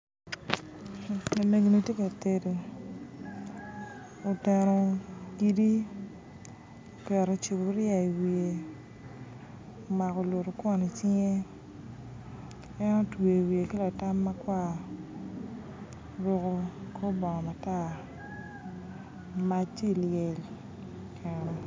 Lamego ni tye ka tedo, okero kidi, oketo cupuria i wiye omako olutukwon icinge, en otweo wiye ki latam makwar, oruko kor bongo, mac tye liel i keno.